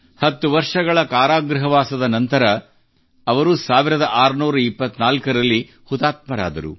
ಹತ್ತು ವರ್ಷಗಳ ಕಾರಾಗೃಹವಾಸದ ನಂತರ ಅವರು 1624 ರಲ್ಲಿ ಹುತಾತ್ಮರಾದರು